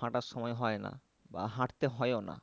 হাঁটার সময় হয় না। বা হাঁটতে হয়ও না।